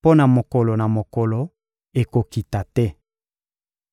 mpo na mokolo na mokolo ekokita te.»